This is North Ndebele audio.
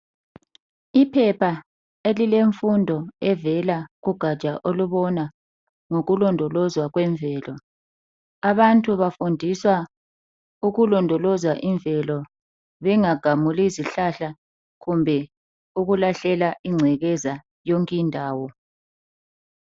Iphepha elilemfundo evela kugaja olubona ngokulondolozwa kwemvelo. Abantu bafundiswa ukulondoloza imvelo, bengagamuli izihlahla kumbe ukulahlela ingcekeza yonke indawo.